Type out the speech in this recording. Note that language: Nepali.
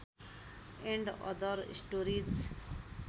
and other stories